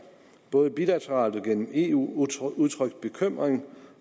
både bilateralt og gennem eu udtrykt udtrykt bekymring